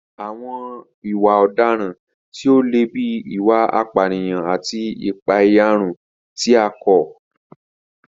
Àwọn ìwà ọ̀daràn tí ó le bíi ìwà ìpànìyàn àti ìpàẹ̀yàrun tí a kọ̀